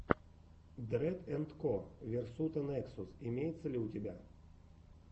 дрэд энд ко версута нексус имеется ли у тебя